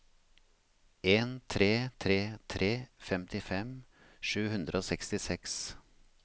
en tre tre tre femtifem sju hundre og sekstiseks